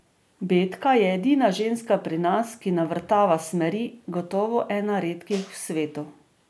Betka je edina ženska pri nas, ki navrtava smeri, gotovo ena redkih v svetu.